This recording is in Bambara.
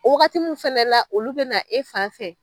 O wagati mun fɛnɛla olu bina e fan fɛ